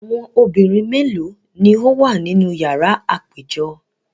Awọn obinrin melo ni o wa ninu yara apejọ?